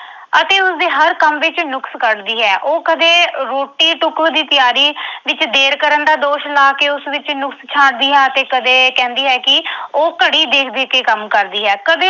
ਅਤੇ ਉਸਦੇ ਹਰ ਕੰਮ ਵਿੱਚ ਨੁਕਸ ਕੱਢਦੀ ਹੈ। ਉਹ ਕਦੇ ਰੋਟੀ-ਟੁੱਕ ਦੀ ਤਿਆਰੀ ਵਿੱਚ ਦੇਰ ਕਰਨ ਦਾ ਦੋਸ਼ ਲਾ ਕੇ ਉਸ ਵਿੱਚ ਨੁਕਸ ਛਾਂਟਦੀ ਹੈ ਅਤੇ ਕਦੇ ਕਹਿੰਦੀ ਹੈ ਕਿ ਉਹ ਘੜੀ ਦੇਖ ਦੇਖ ਕੇ ਕੰਮ ਕਰਦੀ ਹੈ। ਕਦੇ